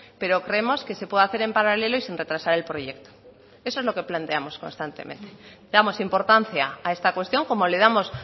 pero creemos que se puede hacer en paralelo y sin retrasar el proyecto eso es lo que planteamos constantemente le damos importancia a esta cuestión como le damos